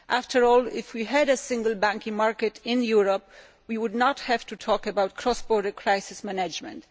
After all, if we had a single banking market in Europe, we would not have to talk about cross border crisis management.